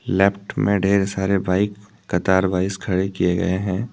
Left में ढेर सारे बाइक कतार वाइस खड़े किये गए है।